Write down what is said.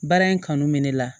Baara in kanu bɛ ne la